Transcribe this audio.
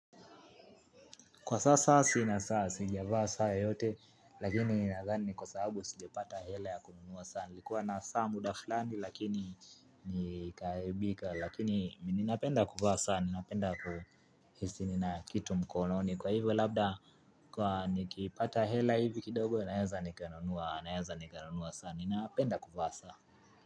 Kwa sasa sina saa sijavaa saa yoyote, lakini ninadhani ni kwa sababu sijapata hela ya kununua sana. Nilikuwa na saa mudafulani lakini nikaibika, lakini mimi ninapenda kuvaa saa, ninapenda kuhisi nina kitu mkononi. Kwa hivyo labda, kwa nikipata hela hivi kidogo, naeza nikanunua saa, ninapenda kuvaa saa.